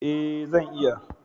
Ee, zan iya